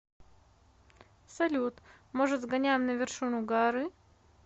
салют может сгоняем на вершину горы